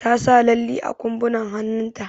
Ta sa lalli a ƙumbunan hannun ta.